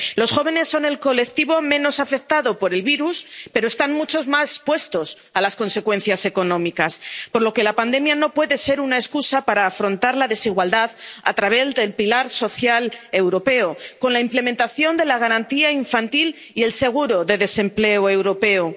Los jóvenes son el colectivo menos afectado por el virus, pero están mucho más expuestos a las consecuencias económicas, por lo que la pandemia no puede ser una excusa para no afrontar la desigualdad a través del pilar social europeo, con la implementación de la garantía infantil y el seguro de desempleo europeo.